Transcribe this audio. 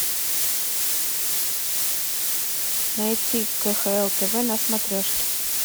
найти кхл тв на смотрешке